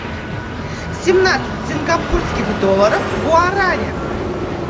семнадцать сингапурских долларов в гуарани